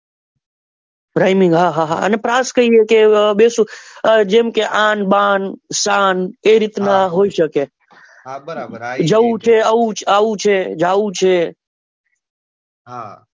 Rhyming હા હા અને પ્રાસ કહીએ કે બેસુર જેમ કે આંન બાન શાન એ રીત નું હોઈ શકે જવું છે આવવું છે જાવું છે